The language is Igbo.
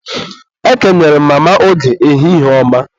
Ekenere m Mama Oge, ehihie ọma